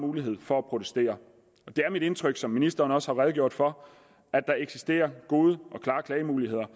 mulighed for at protestere det er mit indtryk som ministeren også har redegjort for at der eksisterer gode og klare klagemuligheder